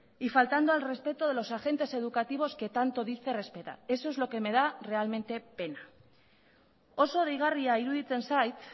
y faltando al respeto de los agentes educativos que tanto dice respetar eso es lo que me da realmente pena oso deigarria iruditzen zait